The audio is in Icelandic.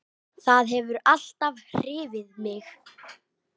Það hefur alltaf hrifið mig.